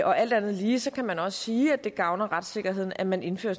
og alt andet lige kan man sige at det gavner retssikkerheden at man indfører